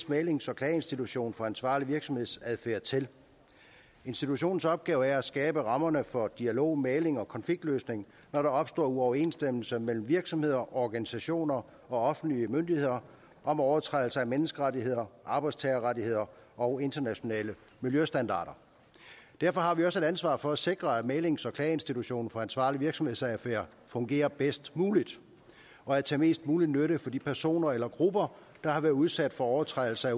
mæglings og klageinstitution for ansvarlig virksomhedsadfærd til institutionens opgave er at skabe rammerne for dialog mægling og konfliktløsning når der opstår uoverensstemmelser mellem virksomheder organisationer og offentlige myndigheder om overtrædelse af menneskerettigheder arbejdstagerrettigheder og internationale miljøstandarder derfor har vi også et ansvar for at sikre at mæglings og klageinstitutionen for ansvarlig virksomhedsadfærd fungerer bedst muligt og er til mest mulig nytte for de personer eller grupper der har været udsat for overtrædelse af